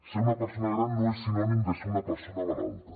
ser una persona gran no és sinònim de ser una persona malalta